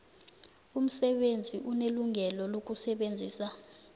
umsebenzi unelungelo lokusebenzisa